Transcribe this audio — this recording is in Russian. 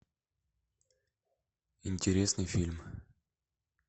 интересный фильм